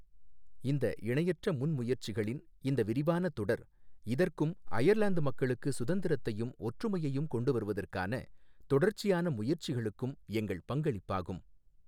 இந்த இணையற்ற முன்முயற்சிகளின் இந்த விரிவான தொடர் இதற்கும் அயர்லாந்து மக்களுக்கு சுதந்திரத்தையும் ஒற்றுமையையும் கொண்டு வருவதற்கான தொடர்ச்சியான முயற்சிகளுக்கும் எங்கள் பங்களிப்பாகும்.